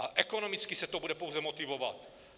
A ekonomicky se to bude pouze motivovat.